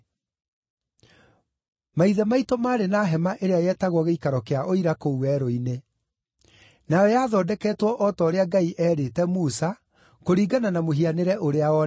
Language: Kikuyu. “Maithe maitũ maarĩ na hema ĩrĩa yetagwo gĩikaro kĩa Ũira kũu werũ-inĩ. Nayo yathondeketwo o ta ũrĩa Ngai eerĩte Musa, kũringana na mũhianĩre ũrĩa onete.